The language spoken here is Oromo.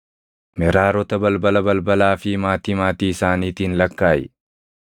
“Meraarota balbala balbalaa fi maatii maatii isaaniitiin lakkaaʼi.